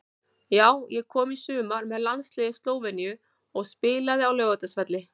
Já ég kom í sumar með landsliði Slóveníu og spilaði á Laugardalsvelli.